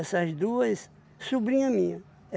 duas, sobrinha minha.